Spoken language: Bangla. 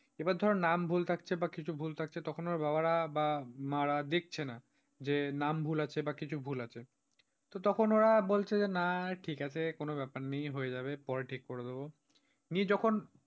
এবার ধর নাম ভুল থাকছে বা কিছু ভুল থাকছে তখন ওর বাবারা বা মা রা দেখছে না, যে নাম ভুল আছে বা কিছু ভুল আছে তো তখন ওরা বলছে না ঠিক আছে কোন ব্যাপার নেই হয়ে যাবে পরে ঠিক করে দেব। নিয়ে যখন,